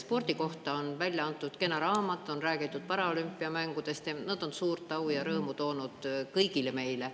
Spordi kohta on välja antud kena raamat, on räägitud paralümpiamängudest, mis on suurt au ja rõõmu toonud kõigile meile.